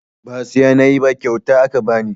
Ba siya nayi ba kyauta aka bani